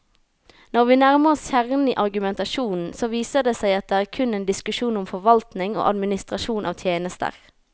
Når vi nærmer oss kjernen i argumentasjonen, så viser det seg at det kun er en diskusjon om forvaltning og administrasjon av tjenester.